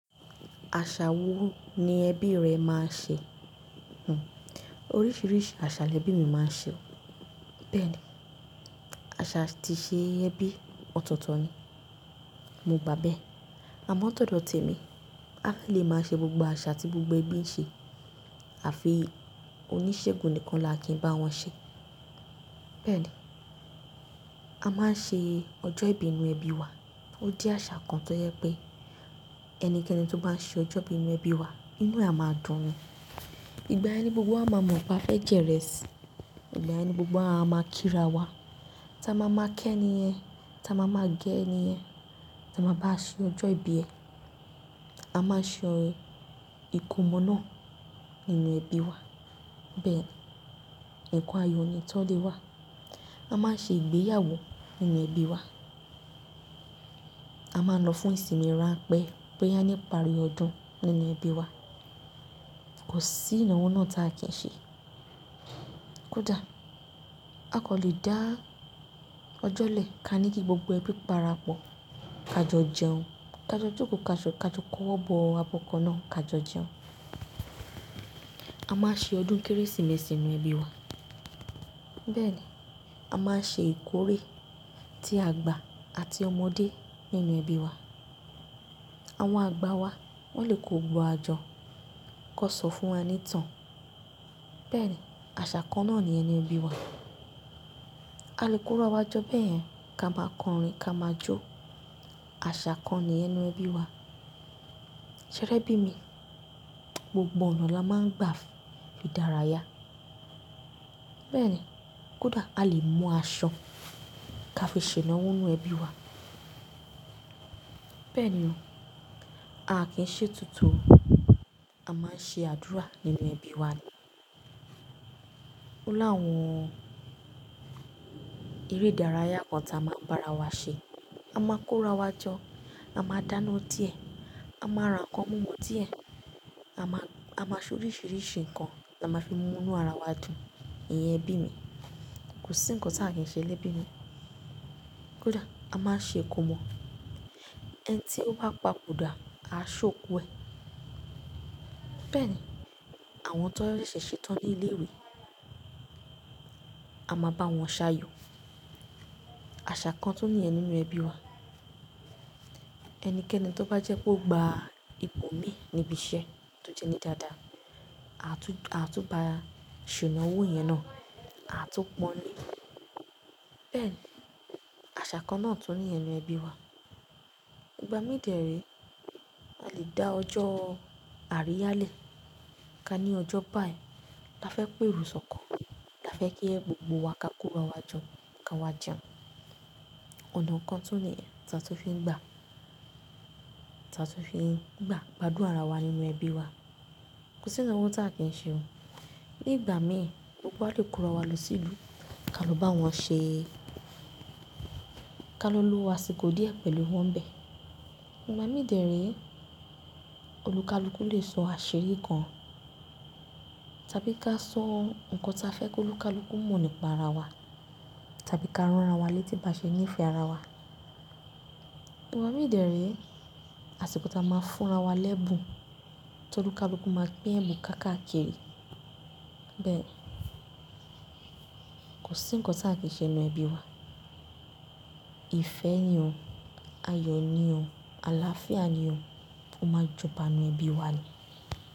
Àṣà wo ni ẹbí rẹ máa ń ṣe? Oríṣiríṣi àṣà lẹbí mi máa ń ṣe. Bẹ́ẹ̀ni, àṣà atí ṣe ẹbí ọ̀tọ̀ọ̀tọ̀ ni. Mo gbà bẹ́ẹ̀, àmọ́ ó tó dọ̀ te mi. A kò lè máa ṣe gbogbo àṣà tí gbogbo ẹbí ń ṣe àfi oníṣègùn nìkan la kí n bá wọn ṣe. Bẹ́ẹ̀ni, a máa ń ṣe ọjọ ìbí ń nú ẹbí wa. Ó di àṣà kan tó jẹ pé ẹnikẹ́ni tó bá ń ṣe ọjọ́ ìbí nú ẹbí wa ínú ẹ à máa dùn ni. Ìgbà yẹn ni gbogbo wa máa mọ̀ pé a fẹ́ jẹ́ ìrẹsì. Ìgbà yẹn ni gbogbo wá a ma kí ra wa. Taa máa máa ké ẹni yẹn, ta máa máa gẹ ẹni yẹn, ta máa bá ṣe ọjọ́ ìbí ẹ. A máa ṣe ìkómọ náà nínú ẹbí wa. Bẹ́ẹ̀, ǹkan ayọ̀ ni tó lé wa. A máa ṣe ìgbéyàwó nínú ẹbí wa. A máa ń lọ fún ìsinmi ran pẹ́ pé a ní ìparí ọdún nínú ẹbí wa. Kò sí ìnáwó náà tá kí n ṣe. Kódà a kàn lè dá ọjọ́ lẹ̀ ká ní kí gbogbo ẹbí para pọ̀ ká jọ jẹun, ká jọ jókòó ká jọ kọ́wọ̀ bọ abọ́ kan náà ká jọ jẹun. A máa ṣe ọdún Kérésìmesì nínú ẹbí wa. Bẹ́ẹ̀ ni, a máa ń ṣe ìkórè tí àgbà àti ọmọdé nínú ẹbí wa. Àwọn àgbà wa wọ́n lè kó gbogbo wa jọ kán sọ fún wa ní ìtàn. Bẹ́ẹ̀ ni, àṣà kan náà níyẹn nú ẹbí wa. A lè kó ra wá jọ bẹ́yẹn ká máa kọrin ká máa jó. Àṣà kan nìyẹn nu ẹbí wa. Ṣé ẹ rẹ́bí mi, gbogbo ọ̀nà la máa ń gbà fi dára yá. Bẹ́ẹ̀ ni, kódà a lè mú aṣọ ká fi ṣe ìnáwó nínú ẹbí wa. Bẹ́ẹ̀ ni o, a kì í ṣe ètùtù o. A máa ń ṣe àdúrà nínú ẹbí wa ni. Ó láwọn eré ìdárayá kan ta máa ń bá ara wa ṣe. A máa kó ra wá jọ, a máa dáná díẹ̀, a máa ra ǹkan múmu díẹ̀, a máa ṣe oríṣiríṣi nǹkan la máa fi mú inú ara wa dùn nínú ẹbí mi. Kò sí nǹkan tá kí n ṣe lẹ́bí mi. Kódà a máa ṣe ìkómọ. Ẹni tí ó papò dà, à á ṣokú ẹ. Bẹ́ẹ̀ ni, àwọn tó rẹ̀ ṣẹ̀ ṣetán ní ilé ìwé, a máa bá wọn sayọ̀. Àṣà kan tún nìyẹn nínú ẹbí wa. Ẹnikẹ́ni tó bá jẹ́ pé ó gba ipò mi níbi iṣẹ́ tó jẹ́ ní dáadáa, a tún bá a ṣe ìnáwó yẹn náà, a tún pọ́n lé. Bẹ́ẹ̀ ni, àṣà kan náà tún ní ẹnu ẹbí wa. Ìgbà mí dẹ̀ ré, a lè dá ọjọ́ àríyá lẹ̀ ká ní ọjọ́ báyìí a fẹ́ pèrò sọ̀kọ̀, la fẹ́ kí ẹ gbogbo wa ká kó ra wá jọ ká wá jẹun. Ọ̀nà kan tún nìyẹn ta tún fi ń gbà, ta tó fi ń gbà gbádùn ara wa nínú ẹbí wa. Kò sí ìnáwó tá kí n ṣe. Ní ìgbà mí ì, gbogbo wa lè kó ra wá lọ sí ìlú ká lọ bá wọn ṣe, ká lọ lo àsìkò díẹ̀ pẹ̀lú wọn ń bẹ́ẹ̀. Ìgbà mí dẹ̀ ré, olúkalúkú lè sọ àṣírí kan tàbí ká sọ ǹkan ta fẹ́ k’olúkalúkú mọ̀ nípa ara wa tàbí ká rán ara wa létí bá ṣe ní ìfẹ́ ara wa. Ìgbà mí dẹ̀ ré, àsìkò ta máa fúnra wa lẹ́bùn tó olúkalúkú máa pín ẹ́bùn ká kà kiri. Bẹ́ẹ̀ ni, kò sí nǹkan tá kí ṣe nínú ẹbí wa. Ifẹ́ ni o, ayọ̀ ni o, àlàáfíà ni o, ó máa jọba nínú ẹbí wa ni.